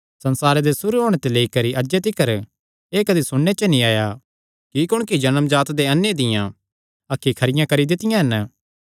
संसारे दे सुरू होणे ते लेई करी अज्जे तिकर एह़ कदी सुणने च नीं आया कि कुणकी जन्मजात दे अन्ने दियां अखीं खरियां करी दित्तियां हन